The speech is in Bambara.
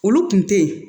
Olu kun tɛ ye